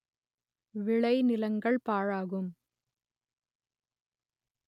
விளை நிலங்கள் பாழாகும்